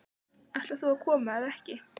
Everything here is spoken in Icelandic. Ætlar þú að koma eða ekki?